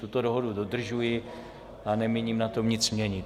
Tuto dohodu dodržuji a nemíním na tom nic měnit.